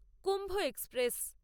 Kumbh express